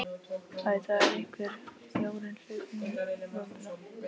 Æ, það er einhver fjárinn hlaupinn í vömbina.